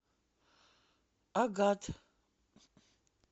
агат